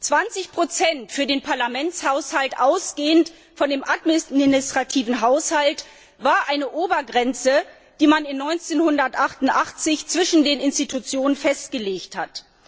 20 für den Parlamentshaushalt, ausgehend vom administrativen Haushalt, waren eine Obergrenze, die man 1988 zwischen den Institutionen festgelegt hat.